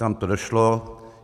Tam to došlo.